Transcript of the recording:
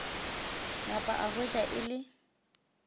napa a hwetša e le